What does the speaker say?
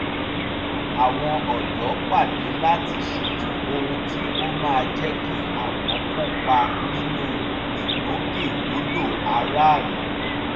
ìgbìmọ̀ àwọn ọ̀dọ́ pàdé láti ṣètò ohun tí ó máa jẹ́ kí àwọn kópa nínú ìgbòkègbodò aráàlú